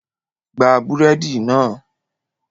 Gba búrẹ́dì náà